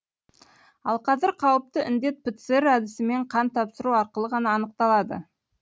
ал қазір қауіпті індет пцр әдісімен қан тапсыру арқылы ғана анықталады